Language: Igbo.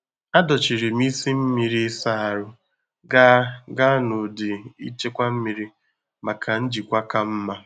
Adochiri m isi mmiri ịsa ahụ gaa gaa na ụdị nchekwa mmiri maka njikwa ka mma.